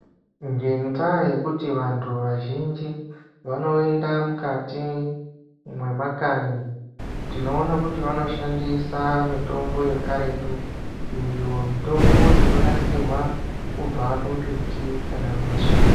Ngendaa yekuti vantu vazhinji vanoyenda mukati mwemakanyi, tinoona kuti vanoshandisa mitombo yekaretu, iyo mitombo inonasirwa kubva kumbiti kana mashakani.